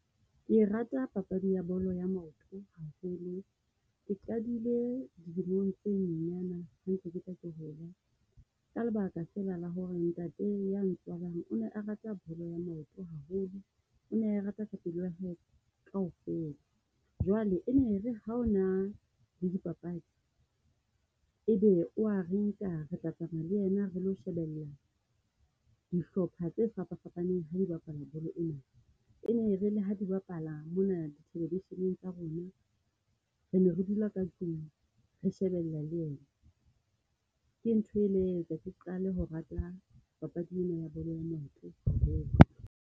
Ke rata papadi ya bolo ya maoto haholo, ke qadile dilemong tse nyenyana ha ntse ke hola. Ka lebaka fela la ho re ntate ya ntswalang, o ne a rata bolo ya maoto haholo, o ne a e rata ka pelo ya kaofela. Jwale e ne re ha ona le di papadi, e be wa re nka retla tsamaya le ena re lo shebella dihlopha tse fapa fapaneng ha di bapala bolo ena. E ne re le ha di bapala mo na television-eng tsa rona, re ne re dula ka tlung re shebelle le ena. Ke ntho e le ya etsa ke qale ho rata papadi ena ya bolo ya maoto.